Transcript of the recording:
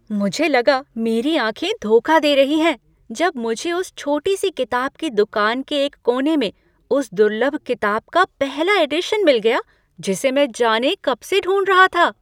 मुझे लगा मेरी आँखें धोखा दे रही हैं जब मुझे उस छोटी सी किताब की दूकान के एक कोने में उस दुर्लभ किताब का पहला एडिशन मिल गया जिसे मैं जाने कब से ढूंढ रहा था।